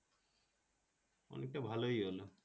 অনেকটা ভালোই হল।